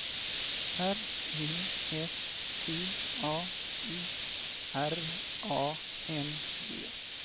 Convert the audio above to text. R E S T A U R A N G